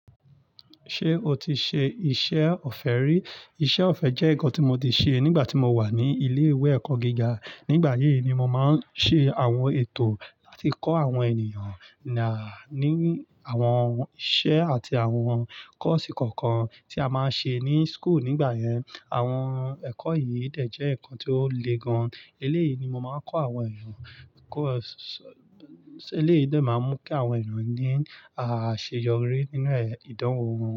Ṣé o ti ṣe iṣẹ́ ọ̀fẹ́ rí? Iṣẹ́ ọ̀fẹ́ jẹ́ nǹkan tí mo ti ṣe nígbà tí mo wà ní ilé ìwé ẹ̀kọ́ gíga. Nígbà yí ni màá ń ṣe àwọn ètò láti kọ́ àwọn ènìyàn ní àwọn iṣẹ́ àti àwọn kọ́ọ̀sì kọ̀ọ̀kan tí a máa ń ṣe ní school nígbà yẹn. Àwọn ẹ̀kọ́ yìí dẹ̀ jẹ́ nǹkan tí ó le gan. Eléyìí ni mo máa ń kọ́ àwọn ènìyàn. Kọ́ọ̀sì eléyìí dẹ̀ máa ń mú kí àwọn ènìyàn ní àṣeyọrí nínú ìdánwò wọn.